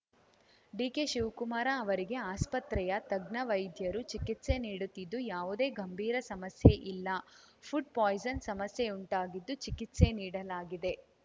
ಡಿಕೆಶಿವ್ ಕುಮಾರ್‌ ಅವರಿಗೆ ಆಸ್ಪತ್ರೆಯ ತಜ್ಞ ವೈದ್ಯರು ಚಿಕಿತ್ಸೆ ನೀಡುತ್ತಿದ್ದು ಯಾವುದೇ ಗಂಭೀರ ಸಮಸ್ಯೆ ಇಲ್ಲ ಫುಡ್‌ ಪಾಯಿಸನ್‌ ಸಮಸ್ಯೆಯುಂಟಾಗಿದ್ದು ಚಿಕಿತ್ಸೆ ನೀಡಲಾಗಿದೆ